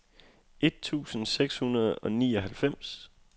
et tusind seks hundrede og nioghalvfems